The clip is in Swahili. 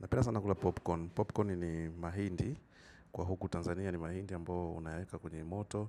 Napenda sana kula popcorn. Popcorn ni mahindi. Kwa hiyo huku Tanzania ni mahindi ambao unayaeka kwenye moto.